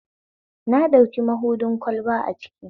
Na ɗauki mabuɗin kwalba a kicin